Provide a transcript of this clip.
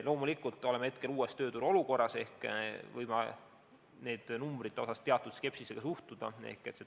Loomulikult oleme praegu uues tööturu olukorras ehk võime nendesse numbritesse teatud skepsisega suhtuda.